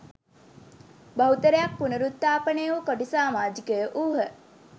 බහුතරයක් පුනරුත්ථාපනය වූ කොටි සාමාජිකයෝ වූහ